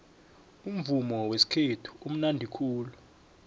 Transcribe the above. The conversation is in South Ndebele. umuvumo wesikhethu umunandi khulu